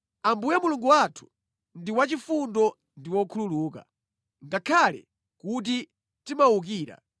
Ambuye Mulungu wathu ndi wachifundo ndi wokhululuka, ngakhale kuti tamuwukira: